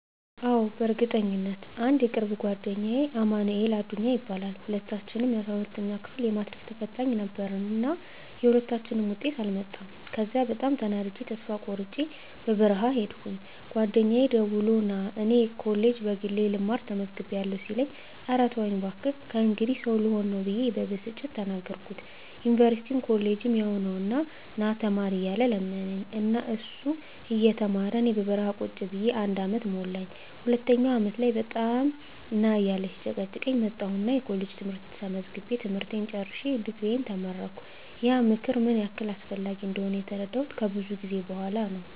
አዎ፣ በእርግጠኝነት! *አንድ የቅርብ ጓደኛዬ አማንኤል አዱኛ ይባላል፦ *ሁለታችንም የ12ኛ ክፍል የማትሪክ ተፈታኝ ነበርን እና የሁለታችንም ውጤት አልመጣም ከዚያ በጣም ተናድጀ ተስፋ ቆርጨ በረሀ ሂድኩኝ ጓደኛየ ደውሎ ና እኔ ኮሌጅ በግሌ ልማር ተመዝግቢያለሁ ሲለኝ እረ ተወኝ ባክህ ከእንግዲህ ሰው ልሆን ብየ በብስጭት ተናገርኩት ዩኒቨርስቲም ኮሌጅም ያው ነው ና ተማር እያለ ለመነኝ እና እሱ እየተማረ እኔ በረሀ ቁጭ ብየ አንድ አመት ሞላኝ ሁለተኛው አመት ላይ በጣም ና እያለ ሲጨቀጭቀኝ መጣሁና ኮሌጅ ትምህርት ተመዝግቤ ትምህርቴን ጨርሸ ድግሪየን ተመረቀሁ። *ያ ምክር ምን ያህል አስፈላጊ እንደሆነ የተረዳሁት ከብዙ ጊዜ በኋላ ነው።